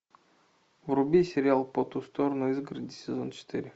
вруби сериал по ту сторону изгороди сезон четыре